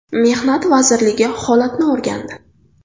Mehnat vazirligi holatni o‘rgandi.